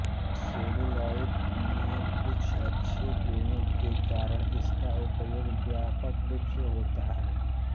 celluloid में कुछ अच्छे गुणों के कारण इसका उपयोग व्यापक रूप से होता है